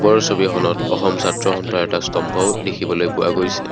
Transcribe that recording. ওপৰৰ ছবিখনত অসম ছাত্ৰ সন্থাৰ এটা স্তম্ভও দেখিবলৈ পোৱা গৈছে।